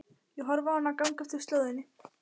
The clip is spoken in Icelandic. Ég horfi á hana ganga eftir slóðinni.